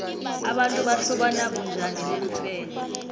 abantu bahlobana bunjani neemfene